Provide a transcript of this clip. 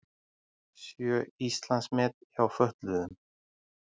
Sjö Íslandsmet hjá fötluðum